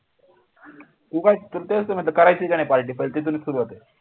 तू काय करतेस म्हणजे करायचं की नाही party पहिले तिथूनच सुरुवात आहे